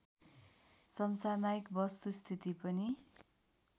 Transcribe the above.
समसामयिक वस्तुस्थिति पनि